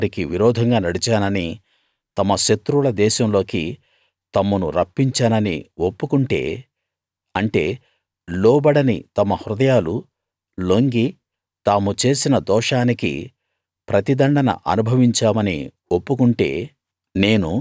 నేను వారికి విరోధంగా నడిచానని తమ శత్రువుల దేశంలోకి తమ్మును రప్పించాననీ ఒప్పుకుంటే అంటే లోబడని తమ హృదయాలు లొంగి తాము చేసిన దోషానికి ప్రతి దండన అనుభవించామని ఒప్పుకుంటే